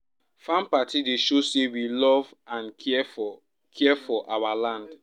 farm party dey show say we love and care for care for our land